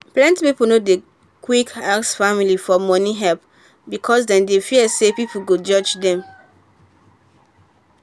plenty people no dey quick ask family for money help because dem dey fear say people go judge dem.